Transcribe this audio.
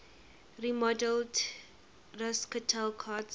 remodeled racquetball courts